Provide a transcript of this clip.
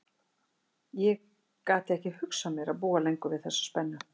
Ég gat ekki hugsað mér að búa lengur við þessa spennu.